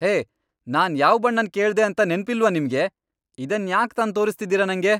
ಹೇ, ನಾನ್ ಯಾವ್ ಬಣ್ಣನ್ ಕೇಳ್ದೆ ಅಂತ ನೆನ್ಪಿಲ್ವಾ ನಿಮ್ಗೆ? ಇದನ್ ಯಾಕ್ ತಂದ್ ತೋರಿಸ್ತಿದೀರ ನಂಗೆ?